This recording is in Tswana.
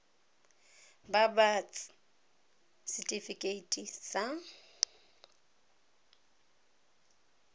ba ba ts setifikeite sa